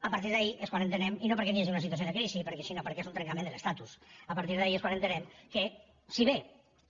a partir d’aquí és quan entenem i no perquè hi hagi una situació de crisi sinó perquè és un trencament de l’estatus que si bé